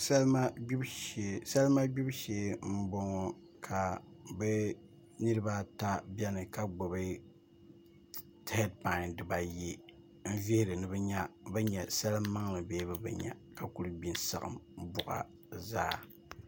Salima gbibu shee n boŋo ka bi niraba at biɛni ka gbubi heed pai dibaayi n vihiri ni bi nya bi nyɛ salin maŋli bee bi bi nya ka kuli gbi n saɣam boɣa zaa